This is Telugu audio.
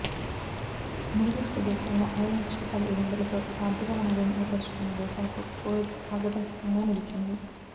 మిడి ఈస్ట్ దేశాలలో ఆయిల్ నిక్షేపాల ఎగుమతులతో ఆర్థికవనరును ఏర్పరుచుకున్న దేశాలకు కువైత్ మార్గదర్శకంగా నిలిచింది